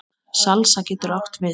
Salsa getur átt við